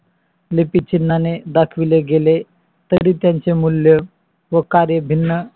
तरी त्याचे उच्चारण वेगेवेगळे असते. वेगवेगळे भाषेत स्वनेम एकाच अव्यापित चिन्हाने दाखवले गेले तरी त्यांचे मूल्य व कार्य भिन असते उच्चारण